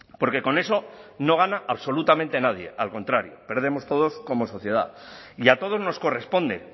porque con eso no gana absolutamente nadie al contrario perdemos todos como sociedad y a todos nos corresponde